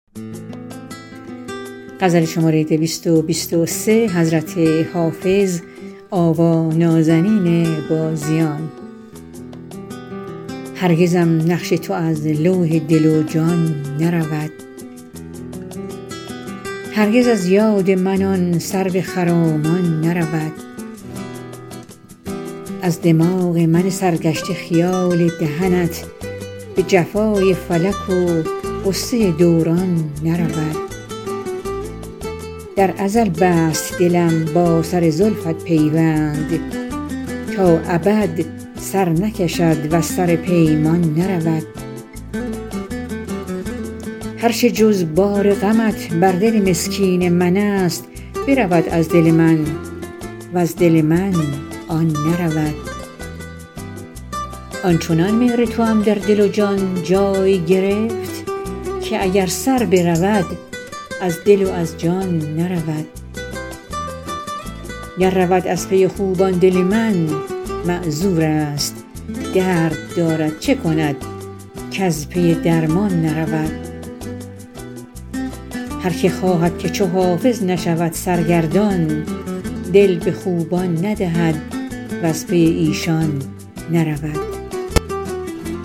هرگزم نقش تو از لوح دل و جان نرود هرگز از یاد من آن سرو خرامان نرود از دماغ من سرگشته خیال دهنت به جفای فلک و غصه دوران نرود در ازل بست دلم با سر زلفت پیوند تا ابد سر نکشد وز سر پیمان نرود هر چه جز بار غمت بر دل مسکین من است برود از دل من وز دل من آن نرود آن چنان مهر توام در دل و جان جای گرفت که اگر سر برود از دل و از جان نرود گر رود از پی خوبان دل من معذور است درد دارد چه کند کز پی درمان نرود هر که خواهد که چو حافظ نشود سرگردان دل به خوبان ندهد وز پی ایشان نرود